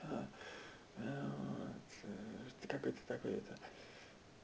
как это так и то